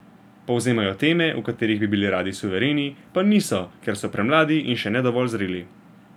Povzemajo teme, v katerih bi bili radi suvereni, pa niso, ker so premladi in še ne dovolj zreli.